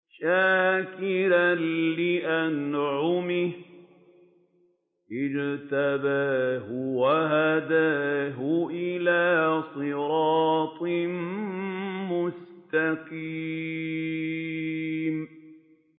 شَاكِرًا لِّأَنْعُمِهِ ۚ اجْتَبَاهُ وَهَدَاهُ إِلَىٰ صِرَاطٍ مُّسْتَقِيمٍ